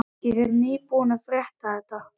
Ég er nýbúinn að frétta þetta.